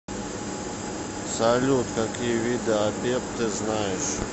салют какие виды апеп ты знаешь